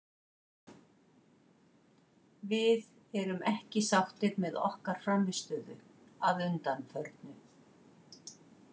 Við erum ekki sáttir með okkar frammistöðu að undanförnu.